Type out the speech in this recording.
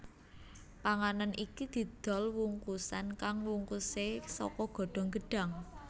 Panganan iki didol wungkusan kang wungkuse saka godhong gedhang